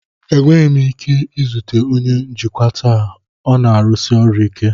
Enweghị m ike izute onye njikwa taa, ọ na-arụsi ọrụ ike.